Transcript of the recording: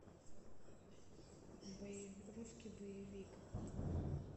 русский боевик